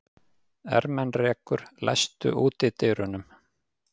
Ermenrekur, læstu útidyrunum.